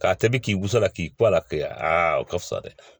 K'a tobi k'i gosi la k'i kɔ la kɛ a o ka fisa dɛ